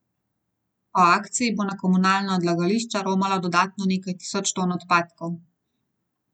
Po akciji bo na komunalna odlagališča romalo dodatno nekaj tisoč ton odpadkov.